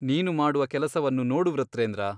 ನೀನು ಮಾಡುವ ಕೆಲಸವನ್ನು ನೋಡು ವೃತ್ರೇಂದ್ರ.